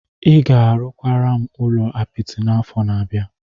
Ị ga-arụkwara m ụlọ apịtị n'afọ na-abịa.